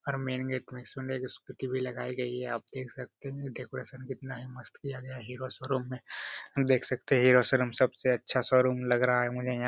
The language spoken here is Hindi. और मैन गेट मे स्कूटी लगाई गई हैं आप देख सकते हैं डेकोरेशन कितना ही मस्त किया गया है हीरो शोरूम में देख सकते हैं हीरो शोरूम सबसे अच्छा शोरूम लग रहा है मुझे यहां।